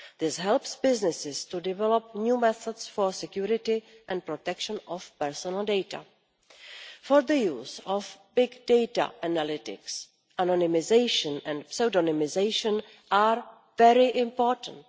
This helps businesses to develop new methods for security and protection of personal data. For the use of big data analytics, anonymisation and pseudonymisation are very important.